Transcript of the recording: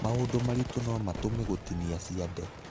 Maũndũ maritũ no matũme gũtinia ciande.